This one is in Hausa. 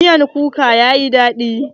Miyar kukan yayi daɗi.